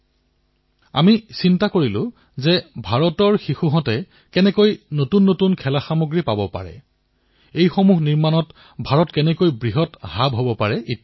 আমাৰ এই কথাৰ ওপৰত চিন্তাচৰ্চা কৰিলো যে ভাৰতৰ শিশুসকলে কিদৰে নতুন নতুন খেলাসামগ্ৰী লাভ কৰিব পাৰিব ভাৰত খেলাসামগ্ৰী উৎপাদনৰ কিদৰে এক কেন্দ্ৰস্থললৈ পৰিৱৰ্তিত হব